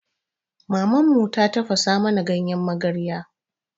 Maman mu ta tafasa mana ganyen magarya.